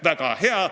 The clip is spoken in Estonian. Väga hea!